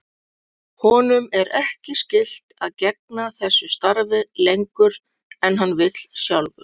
Honum er ekki skylt að gegna þessu starfi lengur en hann vill sjálfur.